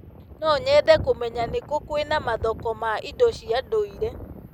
No nyende kũmenya nĩ kũ kwĩna mathoko ma indo cia ndũire.